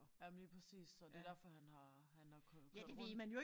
Jamen lige præcis så det derfor han har han har kørt kørt rundt